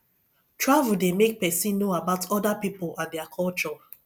travel dey make person know about other pipo and their culture